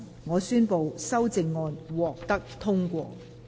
我宣布修正案獲得通過。